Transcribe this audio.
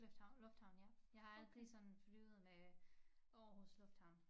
Lufthavn lufthavn ja jeg har aldrig sådan flyvet med Aarhus lufthavn